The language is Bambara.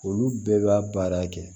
Olu bɛɛ b'a baara kɛ